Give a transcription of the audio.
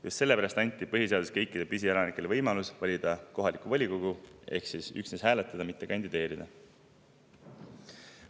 Just sellepärast anti põhiseaduses kõikidele püsielanikele võimalus valida kohalikku volikogu ehk anti üksnes õigus hääletada, mitte kandideerida.